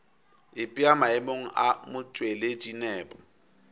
ipea maemong a motšweletši nepo